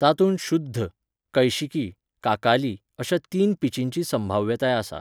तातूंत शुध्द, कैशिकी, काकाली अश्या तीन पिचिंची संभाव्यताय आसा.